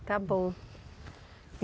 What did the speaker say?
Está bom.